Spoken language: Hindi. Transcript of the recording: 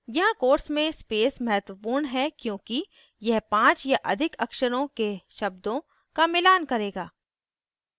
यहाँ quotes में space महत्वपूर्ण है क्योंकि यह 5 या अधिक अक्षरों के शब्दों का मिलान करेगा